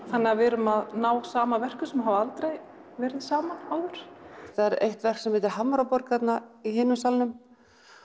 þannig að við erum að ná saman verkum sem hafa aldrei verið saman áður það er eitt verk sem heitir Hamraborg í hinum salnum